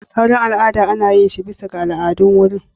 Auren al'ada ana yin shi bisa ga al'adun wurin.